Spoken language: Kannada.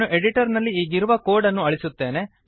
ನಾನು ಎಡಿಟರ್ ನಲ್ಲಿ ಈಗಿರುವ ಕೋಡ್ ಅನ್ನು ಅಳಿಸುತ್ತೇನೆ